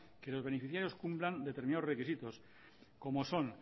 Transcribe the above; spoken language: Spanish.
que los beneficiarios cumplan determinados requisitos como son